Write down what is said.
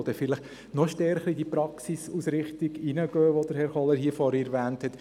Letzteres geht vielleicht noch stärker in die Praxisausrichtung hinein, welche Grossrat Kohler vorhin erwähnt hat.